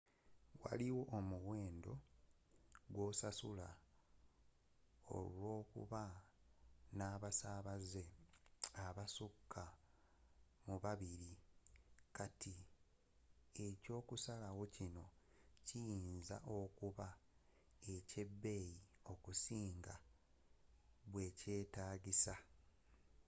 waliwo omuwendo gwosasula olwokuba nabasabaze abasuka mu babiri kati ekyokusalawo kino kiyinza okuba ekyebbeyi okusinga bwekyetagiisa